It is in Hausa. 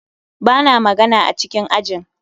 Ba na magana a cikin ajin